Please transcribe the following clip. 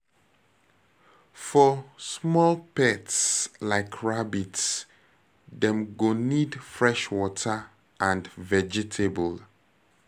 For small pets like rabbit, dem go need fresh water and vegetable